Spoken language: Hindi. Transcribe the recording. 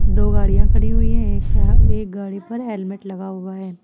दो गाड़ियां खड़ी हुई हैं एक यहां एक गाड़ी पर हेलमेट लगा हुआ है।